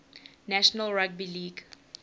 national rugby league